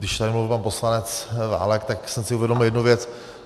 Když tady mluvil pan poslanec Válek, tak jsem si uvědomil jednu věc.